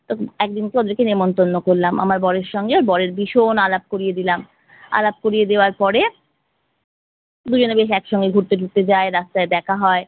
তখন একদিনকে ওদেরকে নেমন্তন্ন করলাম। আমার বরের সঙ্গে ওর বরের ভীষণ আলাপ করিয়ে দিলাম। আলাপ করিয়ে দেওয়ার পরে দুজনে বেশ একসঙ্গে ঘুরতে টুরতে যায়, রাস্তায় দেখা হয়।